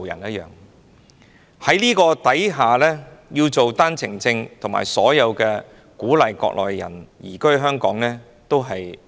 在這種情況下，發放單程證鼓勵內地人移居香港，實屬一